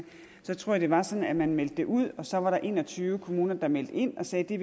jeg tror at det var sådan at man meldte det ud og så var der en og tyve kommuner der meldte ind og sagde at de